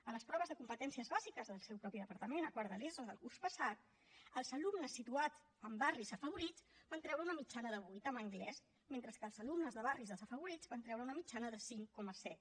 a les proves de competències bàsiques del seu mateix departament a quart de l’eso del curs passat els alumnes situats en barris afavorits van treure una mitjana de vuit en anglès mentre que els alumnes de barris desafavorits van treure una mitjana de cinc coma set